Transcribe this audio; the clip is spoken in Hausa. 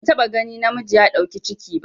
Ban taɓa gani namiji ya ɗau ciki ba